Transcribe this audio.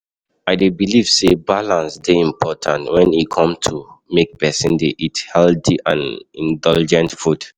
I dey believe say balance dey important when e come to make pesin dey eat healthy and indulgent food.